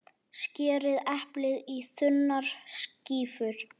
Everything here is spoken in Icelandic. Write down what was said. Skerið eplið í þunnar skífur.